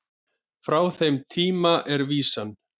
Frá þeim tíma er vísan